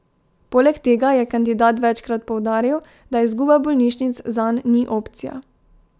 Poleg tega je kandidat večkrat poudaril, da izguba bolnišnic zanj ni opcija.